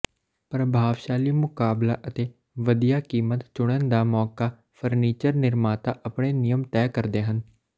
ਪ੍ਰਭਾਵਸ਼ਾਲੀ ਮੁਕਾਬਲਾ ਅਤੇ ਵਧੀਆ ਕੀਮਤ ਚੁਣਨ ਦਾ ਮੌਕਾ ਫਰਨੀਚਰ ਨਿਰਮਾਤਾ ਆਪਣੇ ਨਿਯਮ ਤੈਅ ਕਰਦੇ ਹਨ